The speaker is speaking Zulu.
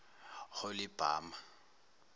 holibama